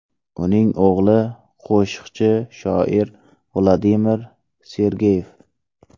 Uning o‘g‘li qo‘shiqchi shoir Vladimir Sergeyev.